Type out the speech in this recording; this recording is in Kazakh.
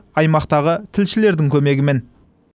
аймақтағы тілшілердің көмегімен